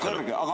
... kõrge.